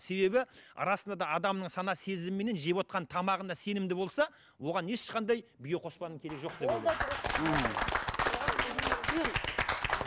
себебі расында да адамның сана сезімі менен жевотқан тамағына сенімді болса оған ешқандай биоқоспаның керегі жоқ деп ойлаймын ол да дұрыс ммм